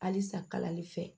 Halisa kalali fɛ